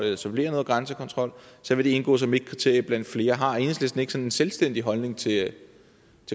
etablere noget grænsekontrol så vil det indgå som et kriterie blandt flere har enhedslisten ikke en selvstændig holdning til